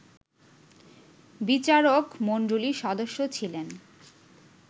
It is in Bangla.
বিচারক মণ্ডলির সদস্য ছিলেন